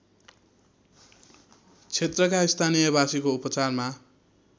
क्षेत्रका स्थानीयवासीको उपचारमा